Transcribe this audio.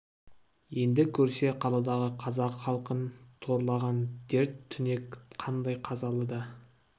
енді көрсе қаладағы қазақ халқын торлаған дерт-түнек қандай қазалы да